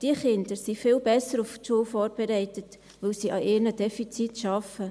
Diese Kinder sind viel besser auf die Schule vorbereitet, weil sie an ihren Defiziten arbeiten.